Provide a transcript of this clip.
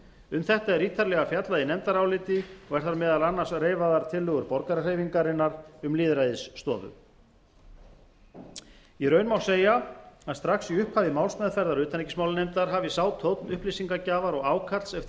um þetta er ítarlega fjallað í nefndaráliti og eru þar meðal annars reifaðar tillögur borgarahreyfingarinnar um lýðræðisstofu í raun má segja að strax í upphafi málsmeðferðar utanríkismálanefndar hafi sá tónn upplýsingagjafar og ákalls eftir